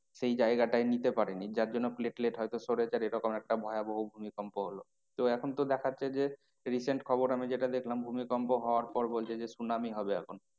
সেই জায়গাটায় নিতে পারেনি যার জন্য platelet হয়তো সরেছে আর এরকম একটা ভয়াবহ ভূমিকম্প হলো। তো এখন তো দেখাচ্ছে যে recent খবর আমি যেটা দেখলাম ভূমিকম্প হওয়ার পর বলছে যে সুনামি হবে এখন।